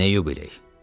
Nə yubiley?